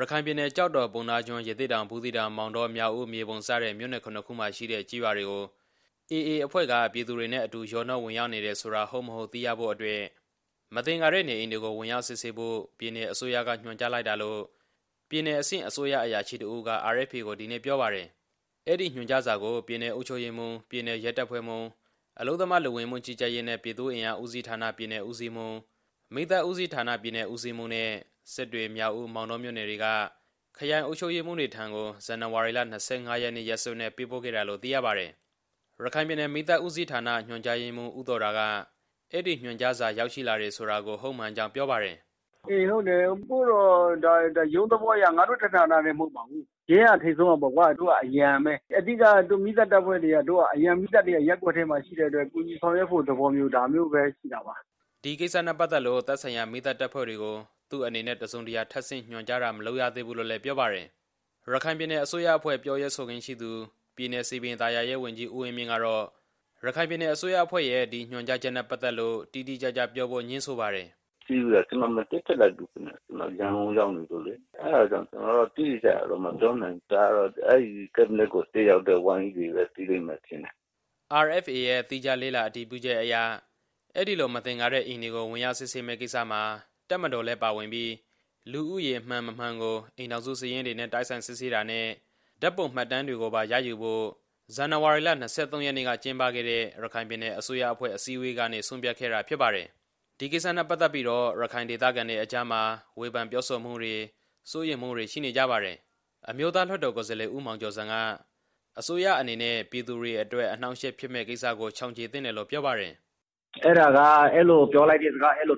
ရခိုင်ပြည်နယ် ကျောက်တော်၊ ပုဏ္ဏားကျွန်း၊ ရသေ့တောင်၊ ဘူးသီးတောင်၊ မောင်တော၊ မြောက်ဦး၊ မြေပုံ စတဲ့ မြို့နယ် ၇ ခုမှာရှိတဲ့ကျေးရွာတွေကို AA အဖွဲ့က ပြည်သူတွေနဲ့အတူ ရောနှောဝင်ရောက်နေတယ်ဆိုတာ ဟုတ်၊ မဟုတ် သိရဖို့အတွက် မသင်္ကာတဲ့နေအိမ်တွေကို ဝင်ရောက်စစ်ဆေးဖို့ ပြည်နယ်အစိုးရက ညွှန်ကြားလိုက်တာလို့ ပြည်နယ်အဆင့် အစိုးရအရာရှိတစ်ဦးက RFA ကို ဒီနေ့ ပြောပါတယ်။ အဲဒီညွှန်ကြားစာကို ပြည်နယ်အုပ်ချုပ်ရေးမှူး၊ ပြည်နယ်ရဲတပ်ဖွဲ့မှူး၊ အလုပ်သမား၊ လူဝင်မှုကြီးကြပ်ရေးနဲ့ ပြည်သူ့အင်အားဦးစီးဌာန ပြည်နယ်ဦးစီးမှူး၊ မီးသတ်ဦးစီးဌာန ပြည်နယ်ဦးစီးမှူးနဲ့ စစ်တွေ၊ မြောက်ဦး၊ မောင်တောမြို့နယ်တွေက ခရိုင်အုပ်ချုပ်ရေးမှူးတွေထံကို ဇန်နဝါရီလ ၂၅ ရက်နေ့ ရက်စွဲနဲ့ပေးပို့ခဲ့တာလို့ သိရပါတယ်။ ရခိုင်ပြည်နယ် မီးသတ်ဦးစီးဌာန ညွှန်ကြားရေးမှူး ဦးသော်ဒါက အဲဒီညွှန်ကြားစာ ရောက်ရှိလာတယ်ဆိုတာ ဟုတ်မှန်ကြောင်း ပြောပါတယ်။ "ဟုတ်ပါတယ်။ ရုံးသဘောအရ ကျွန်တော်တို့ ဌာနတစ်ခုတည်းသက်သက် ပို့တာမဟုတ်ပါဘူး။ ရဲတပ်ဖွဲ့က ထိပ်ဆုံးကပါ။ ကျွန်တော်တို့က အရံပါ။ အဓိကကတော့ ကျွန်တော်တို့ အရံမီးသတ်တပ်ဖွဲ့တွေက ရပ်ကွက်ထဲမှာရှိတဲ့အတွက် ကူညီဆောင်ရွက်ဖို့သဘောမျိုးပါဗျ" ဒီကိစ္စနဲ့ပတ်သက်လို့ သက်ဆိုင်ရာ မီးသတ်တပ်ဖွဲ့တွေကို သူ့အနေနဲ့ တစ်စုံတစ်ရာ ထပ်ဆင့်ညွှန်ကြားတာ မလုပ်ရသေးဘူးလို့လည်း ပြောပါတယ်။ ပြည်နယ်အစိုးရအဖွဲ့ ပြောရေးဆိုခွင့်ရှိသူ၊ ပြည်နယ် စည်ပင်သာယာရေး ဝန်ကြီး ဦးဝင်းမြင့်ကတော့ ရခိုင်ပြည်နယ်အစိုးရအဖွဲ့ရဲ့ ဒီညွှန်ကြားချက်နဲ့ပတ်သက်လို့ တိတိကျကျပြောဖို့ ငြင်းဆိုပါတယ်။ "အစည်းအဝေးကို ကျွန်တော်မတက်ခဲ့ဘူးဗျ။ ကျွန်တော်က အဲဒီတုန်းက ရန်ကုန်ကိုရောက်နေလို့လေ။ အဲဒါကြောင့် ကျွန်တော်က တိတိကျကျမပြောနိုင်တာ။ ဒါကတော့ အဲဒီကတ်ဘိနက် အစည်းအဝေးကို တက်ရောက်တဲ့ဝန်ကြီးတွေပဲ သိပါလိမ့်မယ်" RFA ရဲ့ သီးခြားလေ့လာအတည်ပြုချက်အရ အဲဒီလို မသင်္ကာတဲ့အိမ်တွေကို ဝင်ရောက်စစ်ဆေးမယ့်ကိစ္စမှာ တပ်မတော်လည်းပါဝင်ပြီး လူဦးရေ မှန်၊ မမှန်ကို အိမ်ထောင်စုစာရင်းတွေနဲ့ တိုက်ဆိုင်စစ်ဆေးတာနဲ့ ဓာတ်ပုံမှတ်တမ်းတွေကိုပါရယူဖို့ကို ဇန်နဝါရီလ ၂၃ ရက်နေ့က ကျင်းပခဲ့တဲ့ ရခိုင်ပြည်နယ်အစိုးရအဖွဲ့ အစည်းအဝေးကနေ ဆုံးဖြတ်ခဲ့တာဖြစ်ပါတယ်။ ဒီကိစ္စနဲ့ပတ်သက်ပြီးတော့ ရခိုင်ဒေသခံတွေအကြားမှာ ဝေဖန်ပြောဆိုမှုတွေ၊ စိုးရိမ်မှုတွေ ရှိနေကြပါတယ်။ အမျိုးသားလွှတ်တော် ကိုယ်စားလှယ် ဦးမောင်ကျော်ဇံက အစိုးရအနေနဲ့ ပြည်သူတွေအတွက် အနှောင့်အယှက် ဖြစ်မယ့်ကိစ္စကို ရှောင်ကြဉ်သင့်တယ်လို့ ဝေဖန်ပါတယ်။ "ဒါတွေက အဲသလိုပြောလိုက်တဲ့ဟာတွေက ရခိုင်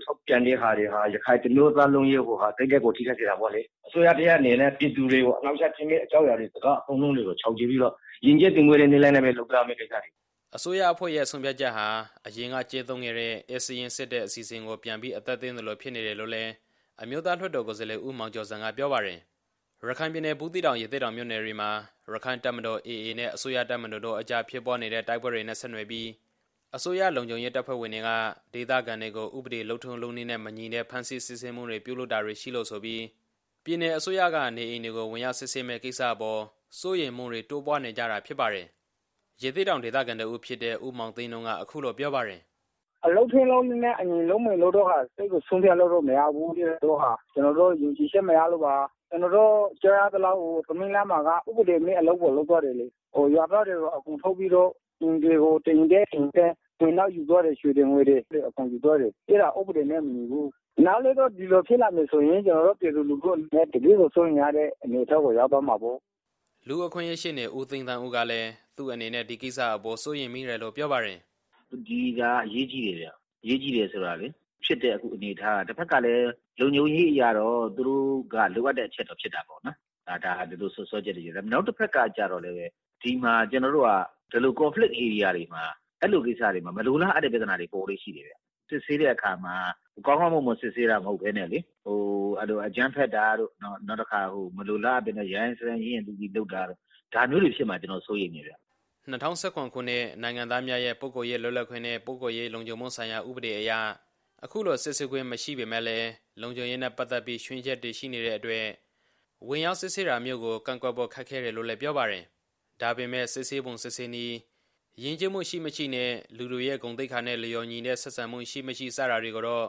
တစ်မျိုးသားလုံးရဲ့စိတ်ကို ထိခိုက်စေတာပေါ့လေ။ အစိုးရတစ်ရပ်အနေနဲ့ ပြည်သူတွေအပေါ် အနှောင့်အယှက်ဖြစ်မယ့် အကြောင်းအရာ စကားတွေအကုန်လုံးကို ရှောင်ကြဉ်ပြီးတော့ ယဉ်ကျေးသိမ်မွေ့စွာနဲ့ပဲ လုပ်ရမယ့်ကိစ္စရပ်တွေလို့ မြင်ပါတယ်" အစိုးရအဖွဲ့ရဲ့ဆုံးဖြတ်ချက်ဟာ အရင်ကကျင့်သုံးခဲ့တဲ့ ဧည့်စာရင်းစစ်တဲ့အစီအစဉ်ကို ပြန်ပြီးအသက်သွင်းသလို ဖြစ်နေတယ်လို့လည်း အမျိုးသားလွှတ်တော် ကိုယ်စားလှယ် ဦးမောင်ကျော်ဇံက ပြောပါတယ်။ ရခိုင်ပြည်နယ် ဘူးသီးတောင်၊ ရသေ့တောင်မြို့နယ်တွေမှာ ရက္ခိုင့်တပ်မတော် နဲ့ အစိုးရတပ်မတော်တို့ အကြားဖြစ်ပွားနေတဲ့ တိုက်ပွဲတွေနဲ့ဆက်နွယ်ပြီး အစိုးရလုံခြုံရေးတပ်ဖွဲ့ဝင်တွေက ဒေသခံတွေကို ဥပဒေလုပ်ထုံး လုပ်နည်းတွေနဲ့မညီတဲ့ ဖမ်းဆီးစစ်ဆေးမှုတွေ ပြုလုပ်တာတွေရှိလို့ဆိုပြီး ပြည်နယ်အစိုးရက နေအိမ်တွေကို ဝင်ရောက်စစ်ဆေးမယ့်ကိစ္စအပေါ် စိုးရိမ်မှုတွေ တိုးပွားနေကြတာဖြစ်ပါတယ်။ ရသေ့တောင် ဒေသခံတစ်ဦးဖြစ်တဲ့ ဦးမောင်သိန်းနုက အခုလို ပြောပါတယ်။ "လုပ်ထုံးလုပ်နည်းနဲ့အညီ လုပ်မယ်လို့တော့ မယုံကြည်ဘူးဗျ။ ကျွန်တော်တို့ သိရသလောက်ဆိုရင်လည်း သမီးလှကျေးရွာမှာ ဥပဒေမဲ့အလုပ်ကို လုပ်သွားတယ်လေ။ ရွာသားတွေကို အကုန်ထုတ်ပြီးတော့ အိမ်တွေကို တစ်အိမ်တက်တစ်အိမ်ဆင်းနဲ့ ရွှေတွေငွေတွေကိုလည်း အကုန်ယူသွားတယ်။ အဲဒါက ဥပဒေနဲ့မညီပါဘူး။ နောက်လည်း ဒီလိုမျိုးဖြစ်လာမယ်ဆိုရင် ကျွန်တော်တို့ ပြည်သူလူထုအနေနဲ့ တကယ့်ကိုစိုးရိမ်ရတဲ့ အနေအထားကို ရောက်သွားမှာပေါ့" လူ့အခွင့်အရေးရှေ့နေ ဦးသိန်းသန်းဦးကလည်း သူ့အနေနဲ့ ဒီကိစ္စအပေါ် စိုးရိမ်မိတယ်လို့ ပြောပါတယ်။ "ဒီဟာကအရေးကြီးတယ်ဗျ။ အရေးကြီးတယ်ဆိုတာကလေ ဖြစ်တဲ့အနေအထားမှာ တစ်ဘက်ကလည်း လုံခြုံရေးအရတော့ သူတို့က လိုအပ်တဲ့အချက်တော့ဖြစ်တာပေါ့နော်၊ ဒီစွပ်စွဲချက်တွေနဲ့ ပတ်သက်ပြီးတော့ပေါ့။ နောက်တစ်ဘက်ကကျတော့လည်း ဒီမှာ ကျွန်တော်တို့က ဒီလိုပဋိပက္ခဧရိယာတွေမှာ အဲသလိုကိစ္စတွေမှာ မလိုလားအပ်တဲ့ပြဿနာတွေ ပေါ်လေ့ရှိတယ်ဗျ။ စစ်ဆေးတဲ့အခါမှာ ကောင်းကောင်းမွန်မွန်စစ်ဆေးတာ မဟုတ်ဘဲနဲ့လေ အကြမ်းဖက်တာတို့၊ နောက်တစ်ခါ မလိုလားအပ်ဘဲ ရိုင်းရိုင်းစိုင်းစိုင်း ရင့်ရင့်သီးသီးလုပ်တာတို့ ဒါမျိုးတွေဖြစ်မှာကို ကျွန်တော် စိုးရိမ်တယ်ဗျ" ၂၀၁၇ ခုနှစ် နိုင်ငံသားများရဲ့ ပုဂ္ဂိုလ်ရေးလွတ်လပ်ခွင့်နဲ့ ပုဂ္ဂိုလ်ရေးလုံခြုံမှုဆိုင်ရာ ဥပဒေအရ အခုလို စစ်ဆေးခွင့်မရှိပေမယ့် လုံခြုံရေးနဲ့ပတ်သက်ပြီး ခြွင်းချက်တွေရှိနေတဲ့အတွက် ဝင်ရောက်စစ်ဆေးတာမျိုးကို ကန့်ကွက်ဖို့ ခက်ခဲတယ်လို့လည်း ပြောပါတယ်။ ဒါပေမဲ့ စစ်ဆေးပုံစစ်ဆေးနည်း၊ ယဉ်ကျေးမှုရှိ မရှိနဲ့ လူတွေရဲ့ဂုဏ်သိက္ခာနဲ့လျော်ညီတဲ့ ဆက်ဆံမှု ရှိ မရှိ စတာတွေကိုတော့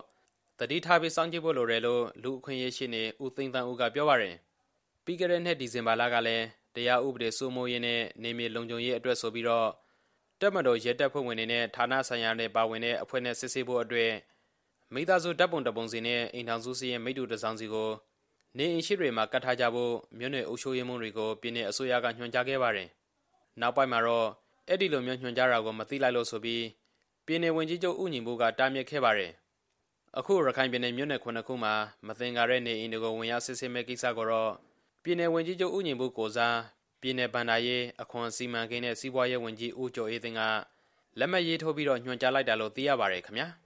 သတိထားပြီး စောင့်ကြည့်ဖို့လိုတယ်လို့ လူ့အခွင့်အရေး ရှေ့နေ ဦးသိန်းသန်းဦးက ပြောပါတယ်။ ပြီးခဲ့တဲ့နှစ် ဒီဇင်ဘာလကလည်း တရားဥပဒေစိုးမိုးရေးနဲ့ နယ်မြေလုံခြုံရေးအတွက်ဆိုပြီး တပ်မတော်၊ ရဲတပ်ဖွဲ့တွေနဲ့ ဌာနဆိုင်ရာတွေပါဝင်တဲ့ အဖွဲ့နဲ့စစ်ဆေးဖို့အတွက် မိသားစုဓာတ်ပုံတစ်ပုံစီနဲ့ အိမ်ထောင်စုစာရင်း မိတ္တူတစ်စောင်စီကို နေအိမ်ရှေ့တွေမှာကပ်ထားကြဖို့ မြို့နယ်အုပ်ချုပ်ရေးမှူးတွေကို ပြည်နယ်အစိုးရက ညွှန်ကြားခဲ့ပါတယ်။ နောက်ပိုင်းမှာတော့ အဲလိုမျိုးညွှန်ကြားတာကို မသိလိုက်လို့ဆိုပြီး ပြည်နယ်ဝန်ကြီးချုပ် ဦးညီပုက တားမြစ်ခဲ့ပါတယ်။ အခု ရခိုင်ပြည်နယ် မြို့နယ် ၇ ခုမှာ မသင်္ကာတဲ့နေအိမ်တွေကို ဝင်ရောက်စစ်ဆေးမယ့်ကိစ္စကိုတော့ ပြည်နယ်ဝန်ကြီးချုပ် ဦးညီပု ကိုယ်စား ပြည်နယ်ဘဏ္ဍာရေး၊ အခွန်၊ စီမံကိန်းနဲ့ စီးပွားရေးဝန်ကြီး ဦးကျော်အေးသိန်းက လက်မှတ်ရေးထိုးပြီး ညွှန်ကြားလိုက်တာလို့ သိရပါတယ်ခင်ဗျာ။